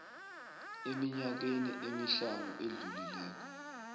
eminyakeni emihlanu edlulileko